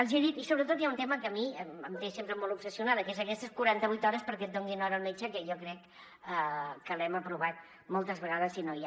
els hi he dit i sobretot hi ha un tema que a mi em té sempre molt obsessionada que són aquestes quaranta vuit hores perquè et donin hora al metge que jo crec que l’hem aprovat moltes vegades i no hi ha